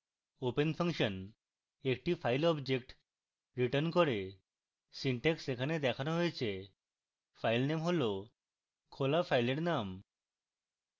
open function একটি file object returns করে